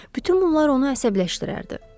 Bütün bunlar onu əsəbləşdirərdi.